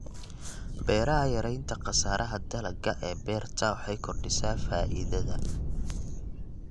Beeraha Yaraynta khasaaraha dalagga ee beerta waxay kordhisaa faa'iidada.